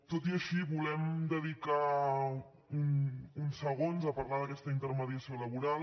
tot i així volem dedicar uns segons a parlar d’aquesta intermediació laboral